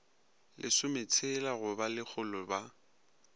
lesometshela go ba lekgolo ba